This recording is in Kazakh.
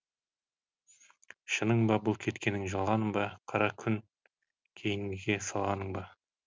шының ба бұл кеткенің жалғаның ба қара күн кейінгіге салғаның ба